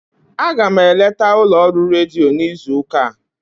Aga m eleta ụlọọrụ redio n'izu ụka a.